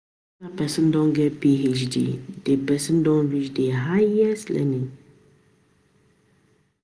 After person don get Phd, di person don reach di higest learning